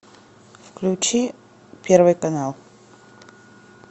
включи первый канал